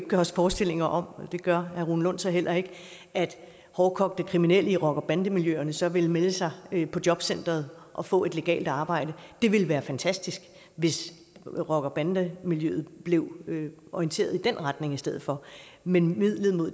gøre os forestillinger om det gør herre rune lund så heller ikke at hårdkogte kriminelle i rocker og bandemiljøerne så ville melde sig på jobcenteret og få et legalt arbejde det ville være fantastisk hvis rocker og bandemiljøet blev orienteret i den retning i stedet for men midlet